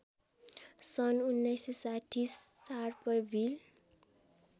सन् १९६० शार्पभिल